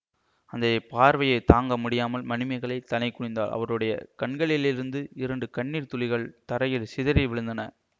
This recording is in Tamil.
அந்த பார்வையைத் தாங்க முடியாமல் மணிமேகலை தலை குனிந்தாள் அவளுடைய கண்களிலிருந்து இரண்டு கண்ணீர் துளிகள் தரையில் சிதறி விழுந்தன